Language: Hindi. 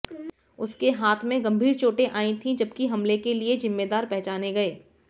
उसके हाथ में गंभीर चोटें आयीं थी जबकि हमले के लिए जिम्मेदार पहचाने गये